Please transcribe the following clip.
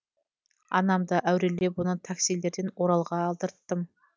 анамды әурелеп оны таксилерден оралға алдырттым